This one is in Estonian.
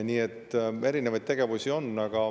Nii et erinevaid tegevusi on.